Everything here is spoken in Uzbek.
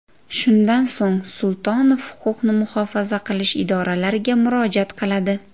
Shundan so‘ng Sultonov huquqni muhofaza qilish idoralariga murojaat qiladi.